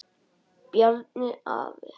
Bjarni afi.